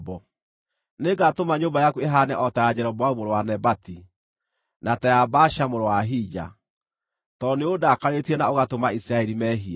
Nĩngatũma nyũmba yaku ĩhaane o ta ya Jeroboamu mũrũ wa Nebati, na ta ya Baasha mũrũ wa Ahija, tondũ nĩũndakarĩtie na ũgatũma Isiraeli mehie.’